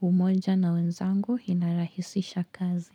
umoja na wenzangu inarahisisha kazi.